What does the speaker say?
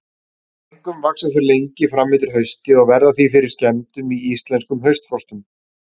Einkum vaxa þau lengi fram eftir hausti og verða því fyrir skemmdum í íslenskum haustfrostum.